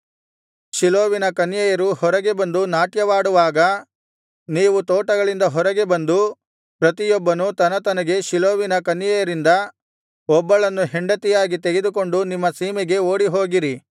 ಶೀಲೋವಿನ ಕನ್ಯೆಯರು ಹೊರಗೆ ಬಂದು ನಾಟ್ಯವಾಡುವಾಗ ನೀವು ತೋಟಗಳಿಂದ ಹೊರಗೆ ಬಂದು ಪ್ರತಿಯೊಬ್ಬನು ತನತನಗೆ ಶೀಲೋವಿನ ಕನ್ಯೆಯರಿಂದ ಒಬ್ಬಳನ್ನು ಹೆಂಡತಿಯಾಗಿ ತೆಗೆದುಕೊಂಡು ನಿಮ್ಮ ಸೀಮೆಗೆ ಓಡಿಹೋಗಿರಿ